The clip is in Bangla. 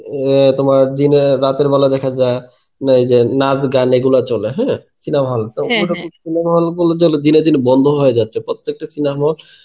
আ তোমার দিনে রাতের বেলায় দেখা যায় এই যে নাচ গান এইগুলো চলে হ্যাঁ, cinema hall cinema hall গুলো দিনে দিনে বন্ধ হয়ে যাচ্ছে প্রত্যেকটা cinema hall.